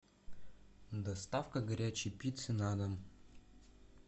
доставка горячей пиццы на дом